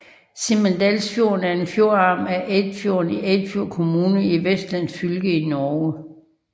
Simadalsfjorden er en fjordarm af Eidfjorden i Eidfjord kommune i Vestland fylke i Norge